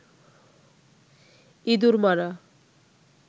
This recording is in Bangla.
ইঁদুর মারা